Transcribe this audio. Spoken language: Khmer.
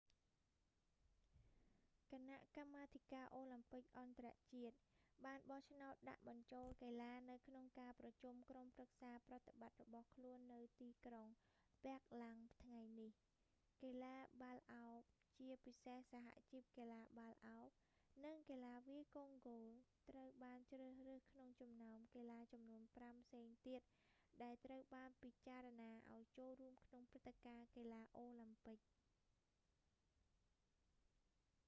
គណៈកម្មាធិការអូឡាំពិកអន្តរជាតិ បានបោះឆ្នោតដាក់បញ្ចូលកីឡានៅក្នុងការប្រជុំក្រុមប្រឹក្សាប្រតិបត្តិរបស់ខ្លួននៅទីក្រុងប៊ែរឡាំងថ្ងៃនេះ កីឡាបាល់ឱប ជាពិសេសសហជីពកីឡាបាល់ឱប និងកីឡាវាយកូនគោលត្រូវបានជ្រើសរើសក្នុងចំណោមកីឡាចំនួនប្រាំ ផ្សេងទៀត ដែលត្រូវបានពិចារណាឱ្យចូលរួមក្នុងព្រឹត្តិការណ៍កីឡាអូឡាំពិក